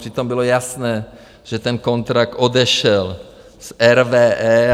Přitom bylo jasné, že ten kontrakt odešel z RWE.